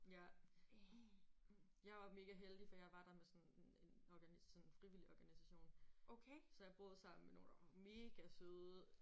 Ja. Jeg var megaheldig for jeg var der med sådan en sådan en frivillig organisation så jeg boede sammen med nogen der var megasøde